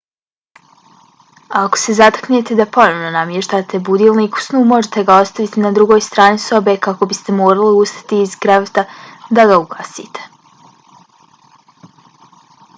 ako se zateknete da ponovo namještate budilnik u snu možete ga ostaviti na drugoj strani sobe kako biste morali ustati iz kreveta da ga ugasite